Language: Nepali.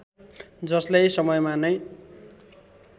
जसलाई समयमा नै